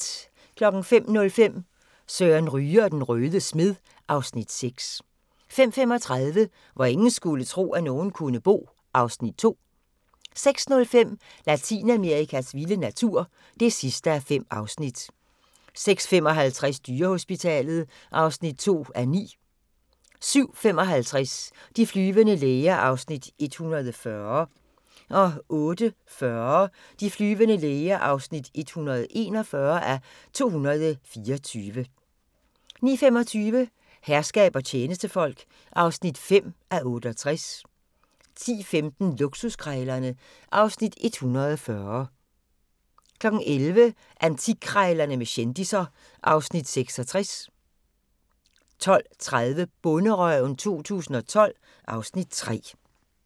05:05: Søren Ryge og den røde smed (Afs. 6) 05:35: Hvor ingen skulle tro, at nogen kunne bo (Afs. 2) 06:05: Latinamerikas vilde natur (5:5) 06:55: Dyrehospitalet (2:9) 07:55: De flyvende læger (140:224) 08:40: De flyvende læger (141:224) 09:25: Herskab og tjenestefolk (5:68) 10:15: Luksuskrejlerne (Afs. 140) 11:00: Antikkrejlerne med kendisser (Afs. 66) 12:30: Bonderøven 2012 (Afs. 3)